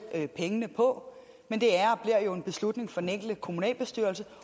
pengene på men det er og bliver jo en beslutning for den enkelte kommunalbestyrelse